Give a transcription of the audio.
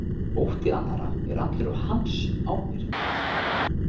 Ótti annarra er allur á hans ábyrgð.